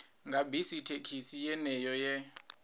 nga bisi thekhisi yeneyo ye